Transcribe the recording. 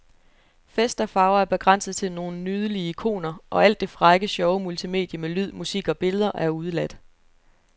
Fest og farver er begrænset til nogle nydelige ikoner, og alt det frække, sjove multimedie med lyd, musik og billeder er udeladt.